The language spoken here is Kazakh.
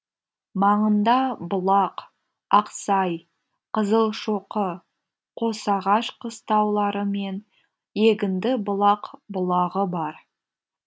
маңында бұлақ ақсай қызылшоқы қосағаш қыстаулары мен егіндібұлақ бұлағы бар